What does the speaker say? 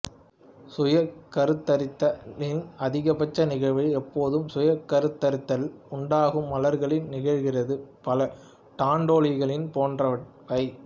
சுயக்கருத்தரித்தலின் அதிகபட்ச நிகழ்வு எப்போதும் சுயக்கருத்தரித்தல் உண்டாகும் மலர்களில் நிகழ்கிறது பல டான்டேலியன்கள் போன்றவை